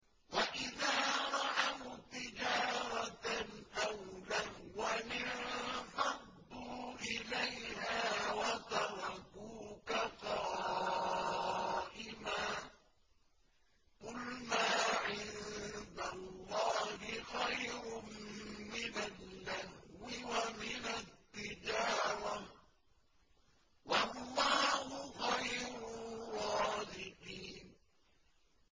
وَإِذَا رَأَوْا تِجَارَةً أَوْ لَهْوًا انفَضُّوا إِلَيْهَا وَتَرَكُوكَ قَائِمًا ۚ قُلْ مَا عِندَ اللَّهِ خَيْرٌ مِّنَ اللَّهْوِ وَمِنَ التِّجَارَةِ ۚ وَاللَّهُ خَيْرُ الرَّازِقِينَ